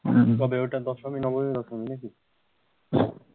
কবে ওটা দশমী নবমী দশমী নাকি